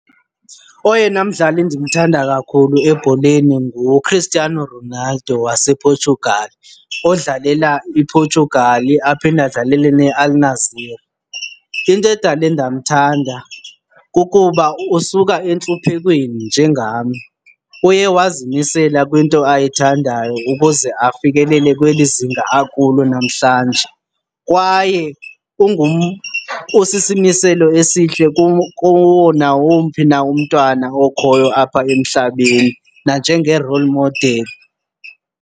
Oyena mdlali ndimthanda kakhulu ebholeni nguChristiano Ronaldo wasePortugal odlalela iPortugal aphinde adlalele neAl-Nassr. Into edale ndamthanda kukuba usuka entluphekweni njengam. Uye wazimisela kwinto ayithandayo ukuze afikelele kweli zinga akulo namhlanje kwaye usisimiselo esihle kuwo nawomphi na umntwana okhoyo apha emhlabeni nanjenge-role model.